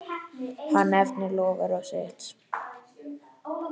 Hann efnir loforð sitt.